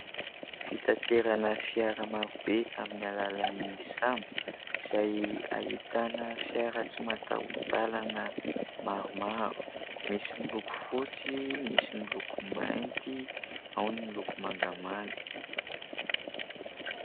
Fitaterana fiara marobe amin'ny alalan'ny sambo, izay ahitana fiara tsy mataho-dalana maromaro. Misy miloko fotsy, misy miloko mainty, ao ny miloko mangamanga.